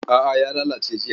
A'a ya lalace jiya.